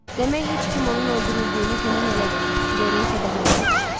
Demək heç kim onun öldürüldüyünü güman eləmir, Doren kədərlə soruşdu.